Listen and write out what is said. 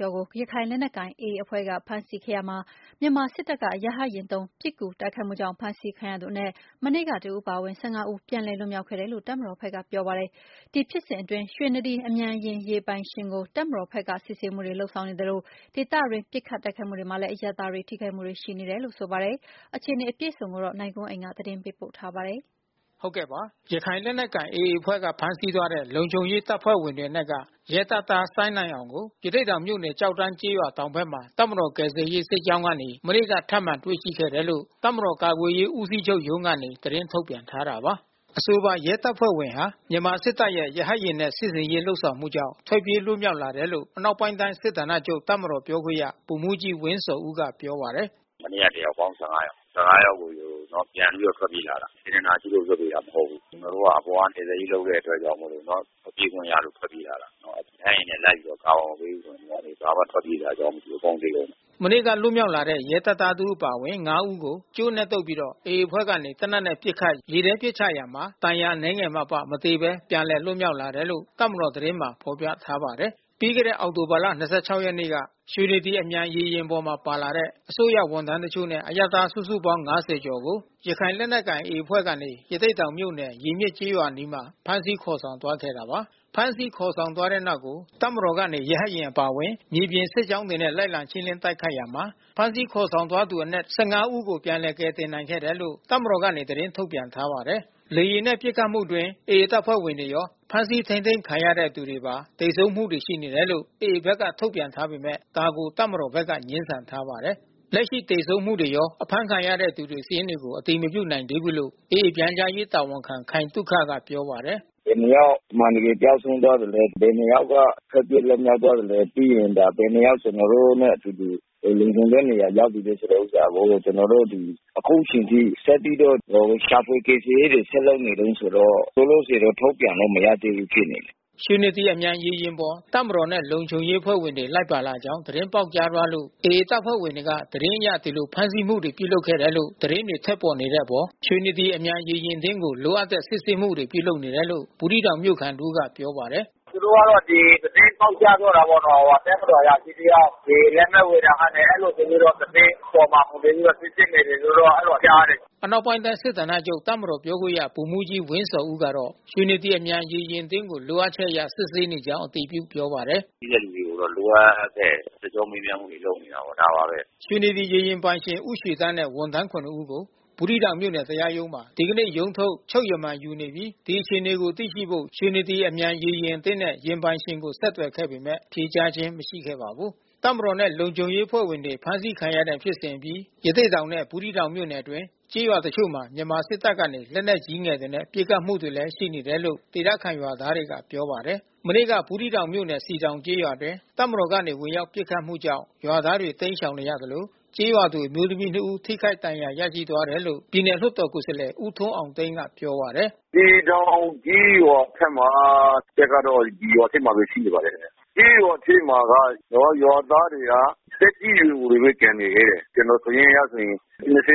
ကျော်ကို ရခိုင်လက်နက်ကိုင်AAအဖွဲ့က ဖမ်းဆီးခဲ့ရာမှာ မြန်မာစစ်တပ်ကနေရဟတ်ယာဉ်သုံး ပစ်ကူ တိုက်ခိုက်မှုကြောင့် ဖမ်းဆီးခံရသူအနက် မနေ့ကတဦးအပါဝင် ဦး ပြန်လည်လွတ်မြောက်ခဲ့တယ်လို့ တပ်မတော် ဖက်ကပြောပါတယ်။ ဒီဖြစ်စဉ်အတွင်း ရွှေနဒီအမြန်ရေယာဉ်ပိုင်ရှင်ကို တပ်မတော်ဖက်က စစ်ဆေးမှုတွေလုပ်ဆောင် နေသလို ဒေသအတွင်းပစ်ခတ်တိုက်ခိုက်မှုတွေမှာလဲ အရပ်သားတွေထိခိုက်မှုတွေရှိနေတာပါ။ ဒီအခြေအနေကို ဗွီအိုအေမြန်မာပိုင်းသတင်းထောက်နိုင်ကွန်းအိန်ကနေ သတင်းပေးပို့ထားပါတယ်။ ရခိုင်လက်နက်ကိုင်AAအဖွဲ့က ဖမ်းဆီးသွားတဲ့ လုံခြုံရေးတပ်ဖွဲ့ဝင်တွေအနက်က ရဲတပ်သား စိုင်းနိုင်အောင်ကို ရသေ့တောင်မြို့နယ် ကျောက်တန်းကျေးရွာတောင်ဖက်မှာ တပ်မတော်ကယ်ဆယ်ရေး စစ်ကြောင်းကနေ မနေ့က ထပ်မံတွေ့ရှိခဲ့တယ်လို့ တပ်မတော် ကာကွယ်ရေးဦးစီးချုပ်ရုံးကနေ သတင်းထုတ်ပြန်ထားတာပါ။ အဆိုပါရဲတပ်ဖွဲ့ဝင်ဟာ မြန်မာစစ်တပ်ရဲ့ရဟတ်ယာဉ်နဲ့ စစ်ဆင်ရေးလုပ်ဆောင်မှုကြောင့် ထွက်ပြေးလွတ်မြောက် လာတယ်လို့ အနောက်ပိုင်းတိုင်း စစ်ဌာနချုပ် တပ်မတော်ပြောခွင့်ရဗိုလ်မှူးကြီးဝင်းဇော်ဦးကပြောပါတယ်။ “မနေ့က တယောက်ပေါင်း ယောက်။ ယောက်ကို ပြန်ပြီးထွက်ပြေးလာတာ။ စေတနာရှိလို့လွှတ်ပေးတာ မဟုတ်ဘူး။ ကျွန်တော်တို့အပေါ်က ကယ်ဆယ်ရေးလုပ်တဲ့အတွက်ကြောင့်မို့လို့ ပြေးခွင့်ရလို့ထွက်ပြေးလာတာနော်။ ရဟတ်ယာဉ်နဲ့လိုက်ပြီး ကာဗာမပေးဘူးဆိုရင် ဘာမှထွက်ပြေးစရာအကြောင်းမရှိဘူး။ အကုန်သေကုန်မယ်။” မနေ့ကလွတ်မြောက်လာတဲ့ရဲတပ်သားတဦးအပါဝင် ဦးကို ကြိုးနဲ့တုတ်ပြီး AAအဖွဲ့ကနေ သေနတ်နဲ့ပစ်ခတ် ရေထဲပစ်ချရာမှာ ဒဏ်ရာအနည်းငယ်မှအပ မသေဘဲ ပြန်လည်လွတ်မြောက်လာတယ်လို့ တပ်မတော်သတင်းမှာ ဖေါ်ပြထားပါတယ်။ ပြီးခဲ့တဲ့အောက်တိုဘာလ ၂၆ ရက်နေ့က ရွှေနဒီ အမြန်ရေယာဉ်ပေါ်မှာပါလာတဲ့ စစ်တပ် ရဲ အစိုးရဝန်ထမ်းတချို့နဲ့ အရပ်သားစုစုပေါင်း ကျော်ကို ရခိုင်လက်နက်ကိုင်AAအဖွဲ့ကနေ ရသေ့တောင်မြို့နယ် ရေမျက်ကျေးရွာအနီး ဖမ်းဆီးခေါ်ဆောင်သွားခဲ့တာပါ။ ဖမ်းဆီးခေါ်ဆောင်သွားတဲ့နောက်ကို တပ်မတော်ကနေ ရဟတ်ယာဉ်အပါဝင်မြေပြင် စစ်ကြောင်း တွေနဲ့ လိုက်လံရှင်းလင်းတိုက်ခိုက်ရာမှာ ဖမ်းဆီးခေါ်ဆောင် သွားသူအနက် ၁၅ ဦးကို ပြန်လည် ကယ်တင်နိုင်ခဲ့ တယ်လို့ တပ်မတော်ကနေသတင်းထုတ်ပြန်ထားပါတယ်။ လေယာဉ်နဲ့ပစ်ခတ်မှုအတွင်း AAတပ်ဖွဲ့ဝင်တွေရော ဖမ်းဆီးထိန်းသိမ်းခံရတဲ့သူတွေရော သေဆုံးမှုတွေ ရှိနေ တယ်လို့ AAဖက်ကထုတ်ပြန်ထားပေမဲ့ ဒါကိုတပ်မတော်ဖက်က ငြင်းဆန်ထားပါတယ်။ လက်ရှိသေဆုံးမှုတွေရော အဖမ်းခံရတဲ့သူတွေစာရင်းတွေကို အတည်မပြုနိုင်သေးဘူးလို့ AA ပြန်ကြားရေးတာဝန်ခံ ခိုင်သုခကပြောပါတယ်။ “ဘယ်နှစ်ယောက်အမှန်တကယ်ကျဆုံးသွားသလဲ။ ဘယ်နှစ်ယောက်က ထွက်ပြေး လွတ်မြောက် သွားသလဲ ဘယ်နှစ် ယောက်ကျွန်တော်တို့နဲ့အတူတူ လုံခြုံတဲ့ နေရာ ရောက်ပြီးလဲဆိုတာကို ကျွန်တော်တို့အခုချိန်ထိ ကျွန်တော်တို့ ဒီ ရှာဖွေကယ်ဆယ်ရေးတွေဆက်လုပ်နေတုန်းဆိုတော့ လောလောဆယ်တော့ထုတ်ပြန်လို့မရသေးဘူးဖြစ်နေတယ်။” ရွှေနဒီအမြန်ရေယာဉ်ပေါ် တပ်မတော်နဲ့လုံခြုံရေးတပ်ဖွဲ့ဝင်တွေလိုက်ပါလာကြောင်း သတင်းပေါက်ကြားသွားလို့ AAတပ်ဖွဲ့တွေက သတင်းအရ ဒီလိုဖမ်းဆီးမှုတွေပြုလုပ်ခဲ့တယ်လို့ သတင်းတွေထွက်ပေါ်နေတဲ့အတွက် ရွှေနဒီ အမြန်ရေယာဉ် အသင်းကို လိုအပ်တဲ့စစ်ဆေးမှုပြုလုပ်နေတယ်လို့ ဘူးသီးတောင်မြို့ခံတဦးကပြောပါတယ်။ “သူတို့ကဒီသတင်းပေါက်ကြားသွားတာပေါ့နော်။ တပ်မတော်အရာရှိတယောက် ရေယာဉ် လက်မှတ်ဝယ်ရာကနေ အဲဒီလိုဆိုပြီးတော့ သတင်းခေါ်မှာဆိုပြီးတော့ စစ်ဆေးနေ တယ်လို့တော့ကြားတယ်။ ” အနောက်ပိုင်းတိုင်းစစ်ဌာနချုပ်တပ်မတော်ပြောခွင့်ရဗိုလ်မှူးကြီးဝင်းဇော်ဦးကတော့ ရွှေနဒီအမြန်ရေယာဉ်အသင်းကို လိုအပ်ချက်အရစစ်ဆေးနေကြောင်းအတည်ပြုပြောပါတယ်။ “ရှိတဲ့လူတွေကိုတော့ လိုအပ်တဲ့ စစ်ကြောမေးမြန်းမှုတွေ လုပ်နေတယ်။ ဒါပါဘဲ။ ” ရွှေနဒီရေယာဉ်ပိုင်ရှင်ဦးရွှေသန်းနဲ့ဝန်ထမ်း ၇ ယောက်ကို ဘူးသီးတောင်မြို့နယ်တရားရုံးမှာ ဒီကနေ့ ရုံးထုတ် ချုပ်ရမန်ယူနေပြီး ဒီအခြေအနေကိုသိရှိဖို့ ရွှေနဒီအမြန်ရေယာဉ် အသင်းနဲ့ယာဉ်ပိုင်ရှင်ကိုဆက်သွယ်ခဲ့ပေမဲ့ ဖြေကြားခြင်း မရှိခဲ့ပါဘူး။ တပ်မတော်နဲ့လုံခြုံရေးတပ်ဖွဲ့ဝင်တွေဖမ်းဆီးခံတဲ့ဖြစ်စဉ်အပြီး ရသေ့တောင် နဲ့ဘူးသီးတောင်မြို့နယ်အတွင်း ကျေးရွာ တချို့မှာ မြန်မာစစ်တပ်ကနေ လက်နက်ကြီးငယ်တွေ နဲ့ပစ်ခတ်မှုတွေရှိနေတယ်လို့ဒေသခံရွာသားတွေက ပြောပါ တယ်။ မနေ့က ဘူးသီးတောင်မြို့နယ် စည်တောင်ကျေးရွာအတွင်း စစ်တပ်ကနေဝင်ရောက်ပစ်ခတ်မှုကြောင့် ရွာသားတွေ တိမ်းရှောင်နေရသလို ကျေးရွာသူအမျိုးသမီး ဦးထိခိုက်ဒဏ်ရာရသွားတယ်လို့ ပြည်နယ်လွှတ်တော်ကိုယ်စား လှယ် ဦးထွန်းအောင်သိန်းကပြောပါတယ်။ “စည်တောင်ကျေးရွာထဲမှာ တပ်ကတော့ရွာထဲမှာဘဲရှိနေပါတယ်ခင်ဗျ။ ကျေးရွာထဲမှာက ရွာသားတွေက သက်ကြီး ရွယ်အိုတွေဘဲကျန်နေသေးတယ်။ ကျွန်တော်စာရင်းအရဆိုရင်